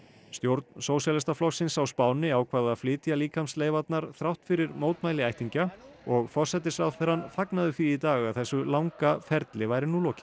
stjórn Sósíalistaflokksins á Spáni ákvað að flytja þrátt fyrir mótmæli ættingja og forsætisráðherrann fagnaði því í dag að þessu langa ferli væri nú lokið